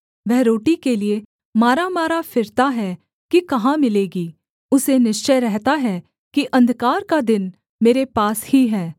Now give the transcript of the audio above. वह रोटी के लिये मारामारा फिरता है कि कहाँ मिलेगी उसे निश्चय रहता है कि अंधकार का दिन मेरे पास ही है